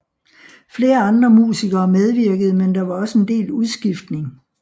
Flere andre musikere medvirkede men der var også en del udskiftning